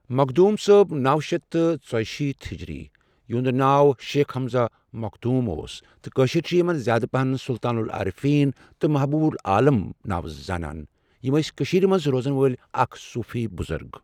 مخدوٗم صٲب نو شیٚتھ تہٕ ژُشیٖتھ ہجری، یِہُند ناو شیخ ہمزہ مخدوٗم اوس تہٕ کٲشِر چھ یمن زیٛادٕ پہن سلطان العرفیٖن تہٕ محبوٗب العالم ناوٕ زانان، یم ٲسی کٔشیٖر منٛز روزن وٲلی اَکھ صوٗفی بزرگ۔